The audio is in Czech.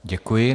Děkuji.